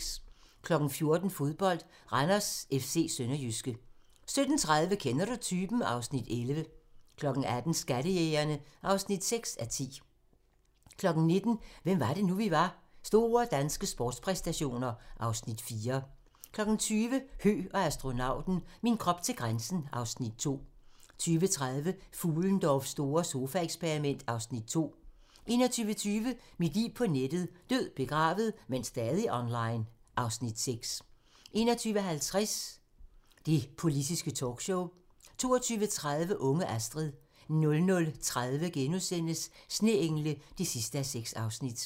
14:00: Fodbold: Randers FC-Sønderjyske 17:30: Kender du typen? (Afs. 11) 18:00: Skattejægerne (6:10) 19:00: Hvem var det nu, vi var: Store danske sportspræstationer (Afs. 4) 20:00: Høgh og astronauten - min krop til grænsen (Afs. 2) 20:30: Fuhlendorffs store sofaeksperiment (Afs. 2) 21:20: Mit liv på nettet: Død, begravet, men stadig online (Afs. 6) 21:50: Det politiske talkshow 22:30: Unge Astrid 00:30: Sneengle (6:6)*